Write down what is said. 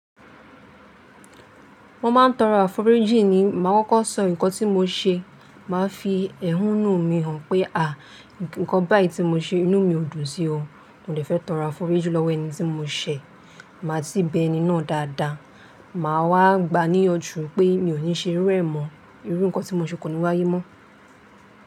Mo máa ń tọrọ àforíjì ni máa kọ́kọ́ sọ nǹkan tí mo ṣe máa fi ẹhúnú mi hàn pé àá, nǹkan báyìí tí mo ṣe inú mi ò dùn sí o. Mo dè fẹ́ tọrọ àforíjì lọ́wọ́ ẹni tí mo ṣẹ̀, màá si bé ẹni náà dáadáa. Màá wá gbaniyànjú pé mi ò ní ṣe íru ẹ̀ mọ́ irú nǹkan tí mo ṣe kò ní wáyé mọ́.